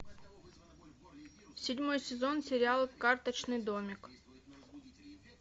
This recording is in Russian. седьмой сезон сериала карточный домик